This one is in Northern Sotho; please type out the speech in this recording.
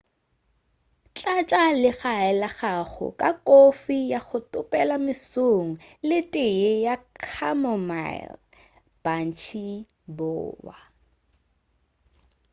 tlatša legae la gago ka kofi ya go topela mesong le teye ya chamomile mantšiboa